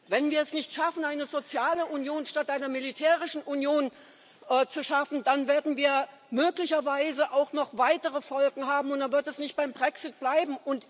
Wenn wir es nicht schaffen, eine soziale Union statt einer militärischen Union zu schaffen, dann werden wir möglicherweise auch noch weitere Folgen haben, und dann wird es nicht beim Brexit bleiben.